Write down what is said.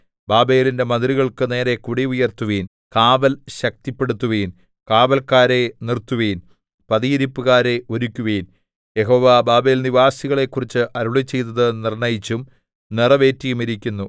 ബാബേലിന്റെ മതിലുകൾക്കു നേരെ കൊടി ഉയർത്തുവിൻ കാവൽ ശക്തിപ്പെടുത്തുവിൻ കാവല്ക്കാരെ നിർത്തുവിൻ പതിയിരിപ്പുകാരെ ഒരുക്കുവിൻ യഹോവ ബാബേൽനിവാസികളെക്കുറിച്ച് അരുളിച്ചെയ്തത് നിർണ്ണയിച്ചും നിറവേറ്റിയുമിരിക്കുന്നു